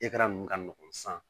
ninnu ka nɔgɔn san